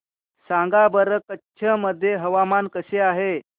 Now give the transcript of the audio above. सांगा बरं कच्छ मध्ये हवामान कसे आहे